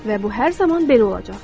Və bu hər zaman belə olacaqdır.